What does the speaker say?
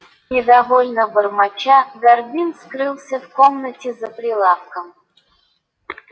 недовольно бормоча горбин скрылся в комнате за прилавком